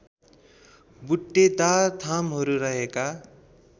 बुट्टेदार थामहरू रहेका